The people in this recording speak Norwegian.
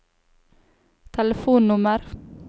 telefonnummer